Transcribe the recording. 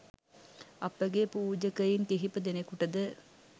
අප ගේ පූජකයින් කිහිප දෙනෙකුට ද